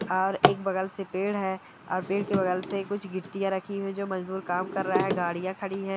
और एक बगल से पेड़ है और पेड़ के बगल से कुछ गिट्टियाँ रखी है जो मजदूर काम कर रहा है गाड़ियां खड़ी है।